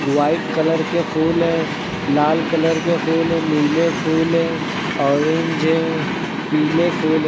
White colour के फूल है लाल कलर के फूल है नीले फूल है ऑरेंज है पीले फूल है।